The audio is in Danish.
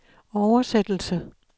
oversættelse